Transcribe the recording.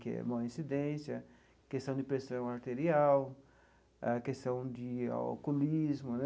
Que é uma incidência, questão de pressão arterial, a questão de alcoolismo, né?